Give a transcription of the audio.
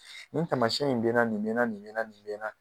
Nin taamasiyɛn in bɛ na nin bɛ na nin bɛ na nin bɛ na